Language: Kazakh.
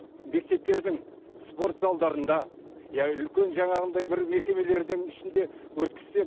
мектептердің спорт залдарында иә үлкен жаңағындай бір мекемелердің ішінде өткізсе